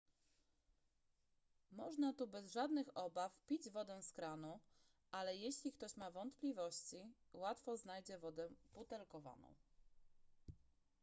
można tu bez żadnych obaw pić wodę z kranu ale jeśli ktoś ma wątpliwości łatwo znajdzie wodę butelkowaną